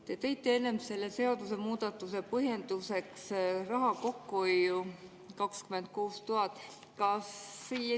Te tõite enne selle seadusemuudatuse põhjenduseks raha kokkuhoiu, 26 000.